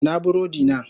Ina burodina?